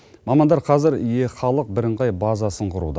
мамандар қазір е халық бірыңғай базасын құруда